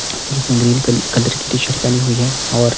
जिसने ग्रीन कल कलर की टीशर्ट पहनी हुई है और--